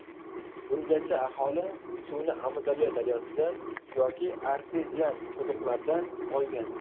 Bungacha aholi suvni Amudaryo daryosidan yoki artezian quduqlardan olgan.